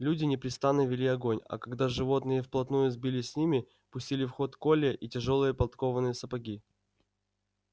люди непрестанно вели огонь а когда животные вплотную сбились с ними пустили в ход колья и тяжёлые подкованные сапоги